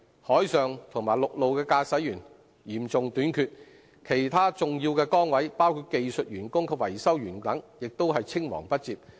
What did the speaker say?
海上和陸路的駕駛員嚴重短缺，其他重要崗位，包括技術員和維修員等，也是青黃不接。